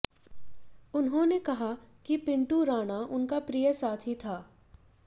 उन्होंने कहा कि पिंटू राणा उनका प्रिय साथी था